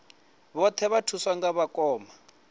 vhoṱhe vha thuswa nga vhakoma